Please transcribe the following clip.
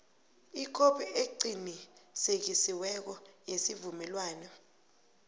ikhophi eqinisekisiweko yesivumelwano